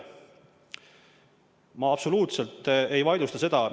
Ma absoluutselt ei vaidlusta seda.